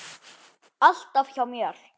Alltaf hjá mér.